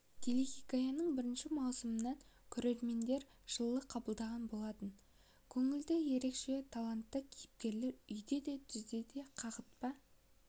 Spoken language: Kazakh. телехикаяның бірінші маусымын көрермендер жылы қабылдаған болатын көңілді ерекше талантты кейіпкерлер үйде де түзде де қағытпа